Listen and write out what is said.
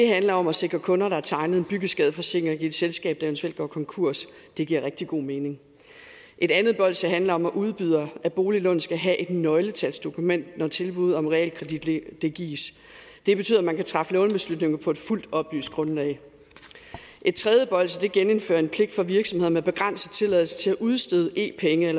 handler om at sikre kunder der har tegnet en byggeskadeforsikring i et selskab der eventuelt går konkurs det giver rigtig god mening et andet bolsje handler om at udbydere af boliglån skal have et nøgletalsdokument når et tilbud om realkredit gives det betyder at man kan træffe lånebeslutningen på et fuldt oplyst grundlag et tredje bolsje gennemfører en pligt for virksomhederne med begrænset tilladelse til at udstede e penge